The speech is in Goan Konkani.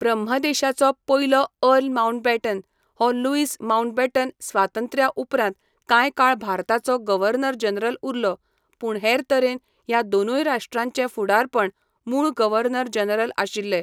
ब्रह्मदेशाचो पयलो अर्ल माउंटबॅटन हो लुईस माउंटबॅटन स्वातंत्र्या उपरांत कांय काळ भारताचो गव्हर्नर जनरल उरलो, पूण हेर तरेन ह्या दोनूय राश्ट्रांचे फुडारपण मूळ गव्हर्नर जनरल आशिल्ले.